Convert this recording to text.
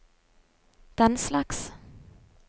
denslags